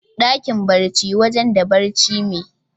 Dakin barci wajen da barci me.